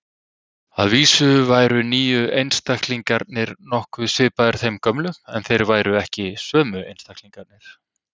Að vísu væru nýju einstaklingarnir nokkuð svipaðir þeim gömlu, en þeir væru ekki sömu einstaklingarnir.